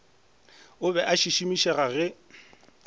o be a šišimišega ge